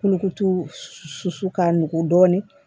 Kolokoto susu ka nugu dɔɔnin